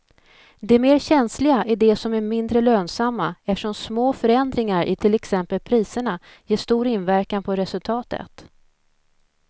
De mer känsliga är de som är mindre lönsamma eftersom små förändringar i till exempel priserna ger stor inverkan på resultatet.